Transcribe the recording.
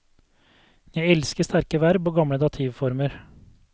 Jeg elsker sterke verb og gamle dativformer.